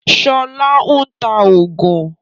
Sọlá ń ta oògùn